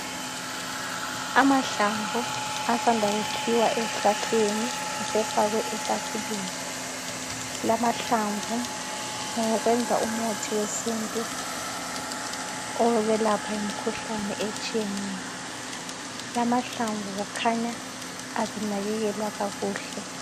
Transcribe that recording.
Amahlamvu asanda kukhiwa esihlahleni asefakwe etafuleni, lamahlamvu ngawokwenza umuthi wesintu owokwelapha imkhuhlane etshiyeneyo, lamahlamvu kukhanya abenakekelwa kakuhle.